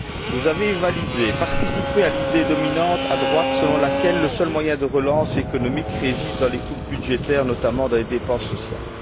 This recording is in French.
Vous avez souscrit, participé à l'idée dominante, à droite, selon laquelle le seul moyen de relance économique réside dans les coupes budgétaires, notamment dans les dépenses sociales.